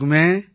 ஆமாங்க